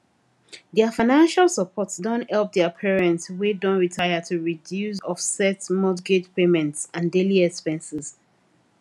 their financial support don help their parents wey don retire to reduce offset mortgage payments and daily expenses